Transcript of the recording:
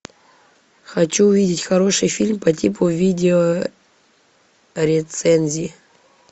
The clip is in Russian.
хочу увидеть хороший фильм по типу видео рецензии